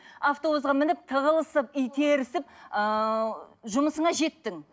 автобусқа мініп тығылысып итерісіп ыыы жұмысыңа жеттің